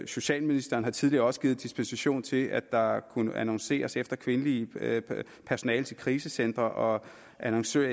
socialministeren har tidligere også givet dispensation til at der kunne annonceres efter kvindeligt personale til krisecentre og annonceres